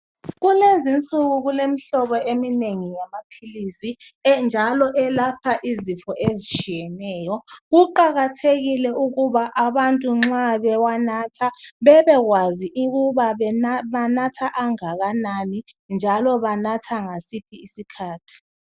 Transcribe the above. Kulezi insuku kulemihlobo eminengi yamaphilisi njalo elapha ezifo ezitshiyeneyo kuqakathekile njalo ukuthi abantu nxa bewanatha bebekwazi ukuthi banatha angakanani njalo banatha ngasiphi isikhathi